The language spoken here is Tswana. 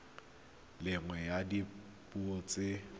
le nngwe ya dipuo tsa